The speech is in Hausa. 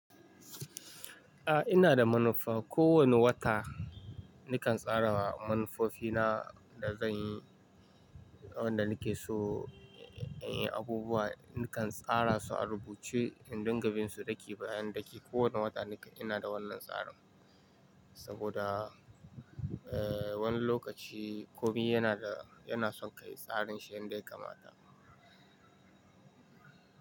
A'a ina da manufa. Ko wane wata nakan tsara manufofina da zan yi, abubuwa nakan tsara su a rubuce in dinga bin su ɗaki bayan ɗaki. Ko wane wata ina da wannan tsarin saboda wani lokaci komai yana da, yana son ka yi tsarin shi indai ka mata.